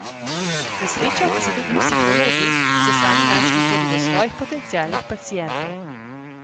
Na srečo pa so tudi psihologi, ki so sami našli pot do svojih potencialnih pacientov.